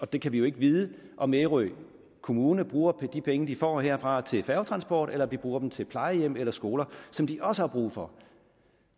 vi kan ikke vide om ærø kommune bruger de penge som de får herfra til færgetransport eller om de bruger dem til plejehjem eller skoler som de også har brug for